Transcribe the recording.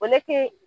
O ne te